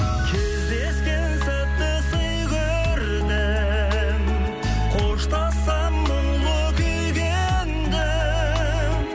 кездескен сәтті сый көрдім қоштассам мұңлы күйге ендім